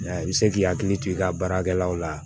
I bɛ se k'i hakili to i ka baarakɛlaw la